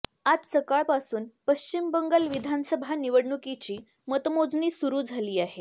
आज सकाळपासून पश्चिम बंगाल विधानसभा निवडणुकीची मतमोजणी सुरू झाली आहे